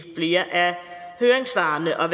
flere af høringssvarene og